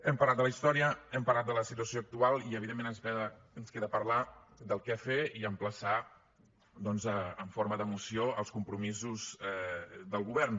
hem parlat de la història hem parlat de la situació actual i evidentment ens queda parlar de què fer i emplaçar doncs en forma de moció els compromisos del govern